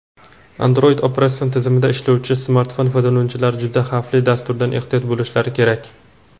Android operatsion tizimida ishlovchi smartfon foydalanuvchilari "juda xavfli" dasturdan ehtiyot bo‘lishlari kerak.